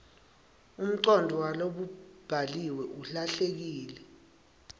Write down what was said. umcondvo walokubhaliwe ulahleke